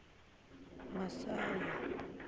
masayi